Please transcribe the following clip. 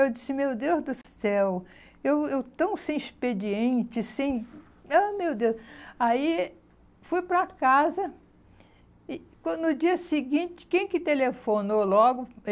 Eu disse, meu Deus do céu, eu eu tão sem expediente, sem... Ai meu Deus. Aí, fui para casa e quando no dia seguinte, quem que telefonou logo?